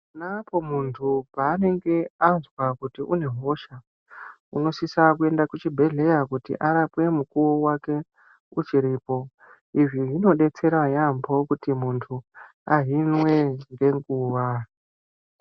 Ponapo muntu paanenge azwa kuti une hosha unosisa kuenda kuchibhedhleya kuti arapwe mukuwo wake uchiripo izvi zvinodetsera yaambo kuti muntu ahinwe ngenguwa.